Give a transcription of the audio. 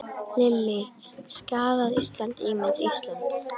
Lillý: Skaðað Ísland, ímynd Íslands?